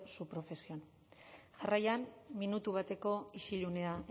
su profesión jarraian minutu bateko isilunea